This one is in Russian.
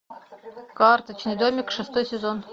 карточный домик шестой сезон